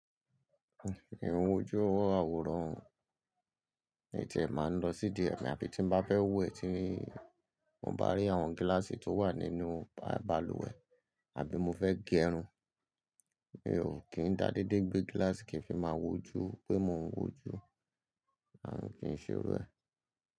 Mi n wo ojú àwòrán o mii tiè máa ń lọ sídi e abí tí n bá fẹ́ wẹ̀ tí n bá rí àwọn gíláàsì tó wà nínú balùwẹ̀ abí mo fẹ́ gẹrun. Mi ò kí ń dá dédé gbé gíláàsì kí ń fi máa wojú pé mò ń wojú, à ń kí ń ṣe irú ẹ.